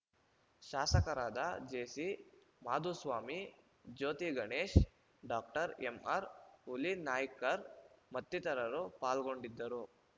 ಶಾಸಕರಾದ JC Madhuswamy Jyothiganesh doctor MR Hulinaikar ಮತ್ತಿತರರು ಪಾಲ್ಗೊಂಡಿದ್ದರು